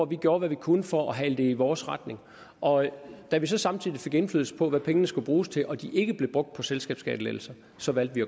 vi gjorde hvad vi kunne for at hale det i vores retning og da vi så samtidig fik indflydelse på hvad pengene skulle bruges til og de ikke blev brugt på selskabsskattelettelser så valgte vi